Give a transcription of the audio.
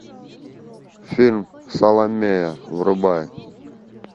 фильм саломея врубай